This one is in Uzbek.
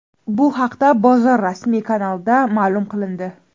Bu haqda bozor rasmiy kanalida ma’lum qilindi .